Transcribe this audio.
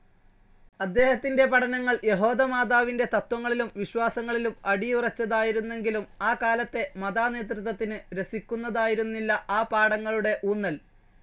അദ്ദേഹത്തിൻ്റെ പഠനങ്ങൾ യഹോദമാതാവിൻ്റെ തത്വങ്ങളിലും വിശ്വാസങ്ങളിലും അടിയുറച്ചതായിരുന്നെങ്കിലും, ആകാലത്തെ മാതാനേതൃത്വത്തിന് രസിക്കുന്നതായിരുന്നില്ല ആ പാഠങ്ങളുടെ ഊന്നൽ.